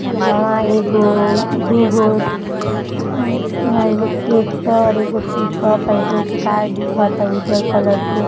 इहां-वहां एगो दुगो अ इहां एगो ट्रेक्टर एगो पिक-अप एगो गाय दिखा त उजर कलर के।